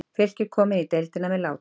Fylkir kom inn í deildina með látum.